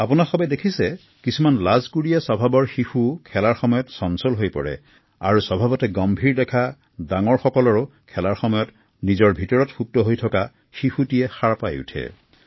আপোনালোকে দেখিছে কিছুমান লাজকুৰীয়া স্বভাৱৰ শিশুও খেলাৰ সময়ত চঞ্চল হৈ পৰে আৰু স্বভাৱতে গম্ভীৰ দেখা শিশু এটাও গহীন হৈ পৰে